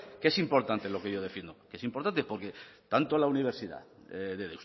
que es importante lo que yo defiendo que es importante porque tanto la universidad de